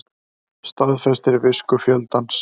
Staðfestir visku fjöldans